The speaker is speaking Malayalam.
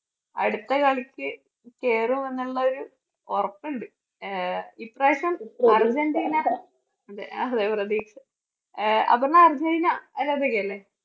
അടുത്ത കളിക്ക് കേറും എന്നുള്ള ഒരു ഉറപ്പുണ്ട്. ആഹ് ഇപ്രാവശ്യം അർജൻറീന അഹ് അപർണ അർജൻറീന ആരാധികയല്ലേ?